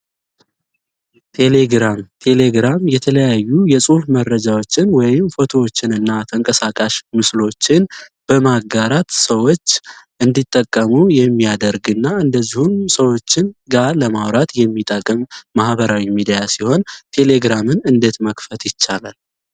ቴሌግራም ቴሌግራም የተለያዩ የጽሑፍ መረጃዎችን ወይም ፎቶዎችን እና ተንቀሳቃሽ ምስሎችን በማጋራት ሰዎች እንዲጠቀሙ የሚያደርግ እና እንደዚሁን ሰዎችን ጋር ለማውራት የሚጠገም ማህበራዊ ሚዲያ ሲሆን ቴሌግራምን እንዴት መክፈት ይቻላል?